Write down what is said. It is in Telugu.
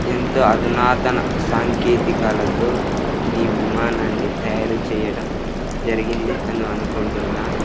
ఇంత అధినాధున సంకేతాలతో ఈ విమానాన్ని తయారు చేయడం జరిగింది అని అనుకుంటున్నా.